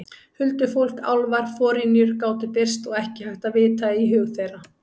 Huldufólk, álfar, forynjur gátu birst og ekki hægt að vita í hug þeirra.